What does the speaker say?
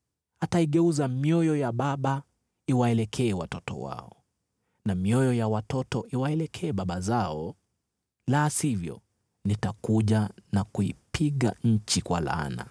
Ataigeuza mioyo ya baba iwaelekee watoto wao, na mioyo ya watoto iwaelekee baba zao, la sivyo nitakuja na kuipiga nchi kwa laana.”